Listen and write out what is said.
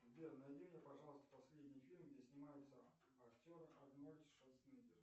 сбер найди мне пожалуйста последний фильм где снимается актер арнольд шварценеггер